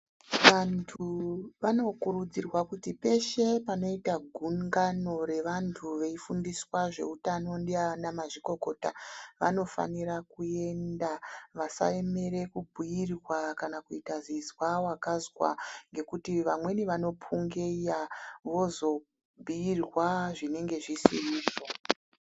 Vantu vanokurudzirwa kuti peshe panoita gungano revantu veifundiswa zveutano ndiana mazvikokota vanofanira kuenda vasaemere kubhuyirwa kana kuita zizwa vakazwa ngekuti vamweni vanopungeiya vozobhuyirwa zvinenge zvisirizvo.